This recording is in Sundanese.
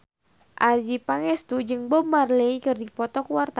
Adjie Pangestu jeung Bob Marley keur dipoto ku wartawan